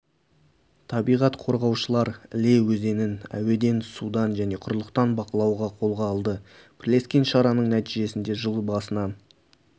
табиғат қорғаушылар іле өзенін әуеден судан және құрлықтан бақылауды қолға алды бірлескен шараның нәтижесінде жыл басынан